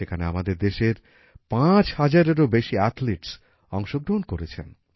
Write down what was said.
সেখানে আমাদের দেশের ৫ হাজারেরও বেশি অ্যাথলিটস অংশগ্রহণ করছেন